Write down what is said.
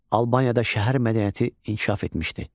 Albaniyada şəhər mədəniyyəti inkişaf etmişdi.